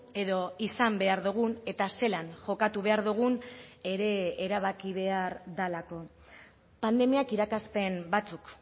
edo izan behar dugun eta zelan jokatu behar dugun ere erabaki behar delako pandemiak irakaspen batzuk